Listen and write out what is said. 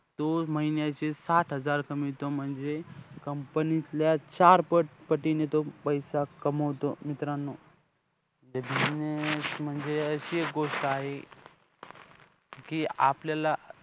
तो महिन्याचे साथ हजार कमवतो. म्हणजे company मधल्या चार पट~ पटीने तो पैसा कमवतो. मित्रांनो, business म्हणजे एक अशी गोष्ट आहे कि, आपल्याला